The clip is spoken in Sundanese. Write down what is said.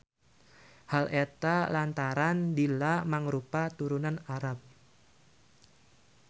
Hal eta lantaran Dilla mangrupa turunan Arab.